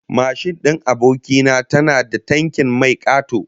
Mashin din aboki na tana da tankin mai kato